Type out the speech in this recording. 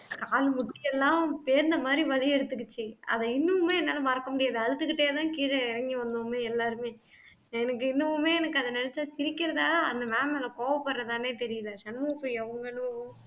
கால் முட்டி எல்லாம் பேந்த மாதிரி வலி எடுத்துக்கிச்சு அதை இன்னுமே என்னால மறக்க முடியாது அழுதுக்கிட்டேதான் கீழே இறங்கி வந்தோமே எல்லாருமே எனக்கு இன்னுமுமே எனக்கு அதை நினைச்சா சிரிக்கிறதா அந்த ma'am மேல கோவப்படுறதான்னே தெரியலே சண்முகப்பிரியா உங்க அனுபவம்